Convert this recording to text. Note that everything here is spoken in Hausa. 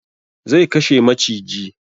Zai kashe maciji